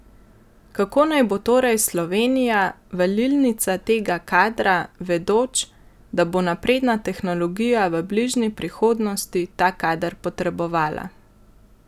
Kako naj bo torej Slovenija valilnica tega kadra, vedoč, da bo napredna tehnologija v bližnji prihodnosti ta kader potrebovala?